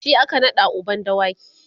shi aka naɗa uban dawaki